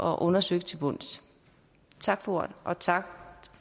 og undersøgt til bunds tak for ordet og tak